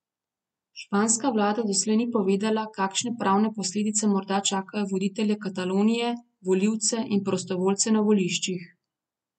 Španska vlada doslej ni povedala, kakšne pravne posledice morda čakajo voditelje Katalonije, volivce in prostovoljce na voliščih.